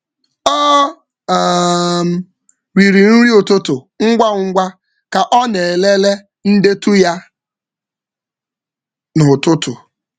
Ọ riri nri um ụtụtụ ngwa ngwa ka ọ na-elele um ndetu um um ya n’ụtụtụ.